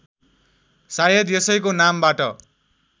सायद यसैको नामबाट